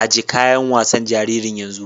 Ajiye kayan wasan jaririn yanzu!